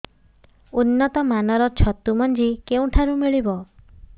ଉନ୍ନତ ମାନର ଛତୁ ମଞ୍ଜି କେଉଁ ଠାରୁ ମିଳିବ